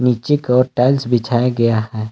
पीछे को टाइल्स बिछाया गया है।